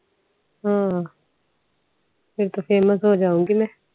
ਹਾਂ ਫਿਰ ਤਾ famous ਹੋ ਜਾਊਗੀ ਮੈ